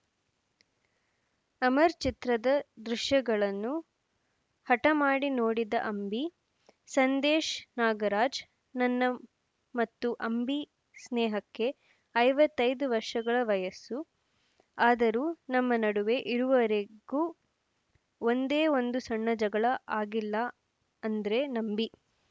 ಅಮರ್‌ ಚಿತ್ರದ ದೃಶ್ಯಗಳನ್ನು ಹಠ ಮಾಡಿ ನೋಡಿದ ಅಂಬಿ ಸಂದೇಶ್‌ ನಾಗರಾಜ್‌ ನನ್ನ ಮತ್ತು ಅಂಬಿ ಸ್ನೇಹಕ್ಕೆ ಐವತ್ತ್ ಐದು ವರ್ಷಗಳ ವಯಸ್ಸು ಆದರೂ ನಮ್ಮ ನಡುವೆ ಇರುವರೆಗೂ ಒಂದೇ ಒಂದು ಸಣ್ಣ ಜಗಳ ಆಗಿಲ್ಲ ಅಂದ್ರೆ ನಂಬಿ